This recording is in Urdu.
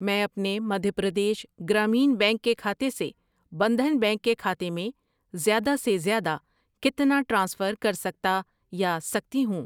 میں اپنے مدھیہ پردیش گرامین بینک کےکھاتے سے بندھن بینک کے کھاتے میں زیادہ سے زیادہ کتنا ٹرانسفر کرسکتا یا سکتی ہوں؟